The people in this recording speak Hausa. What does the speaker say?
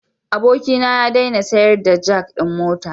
Abokina ya daina sayar da jak din mota.